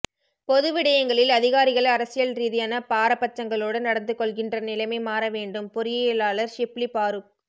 பொது விடயங்களில் அதிகாரிகள் அரசியல் ரீதியான பாராபட்சங்களோடு நடந்து கொள்கின்ற நிலைமை மாற வேண்டும் பொறியியலாளர் ஷிப்லி பாறுக்